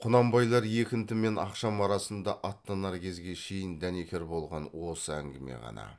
құнанбайлар екінті мен ақшам арасында аттанар кезге шейін дәнекер болған осы әңгіме ғана